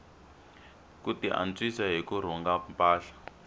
ku tiantswisa hi ku rhunga mpahla